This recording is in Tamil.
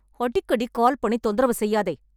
அடிக்கடி கால் பண்ணி தொந்தரவு செய்யாதே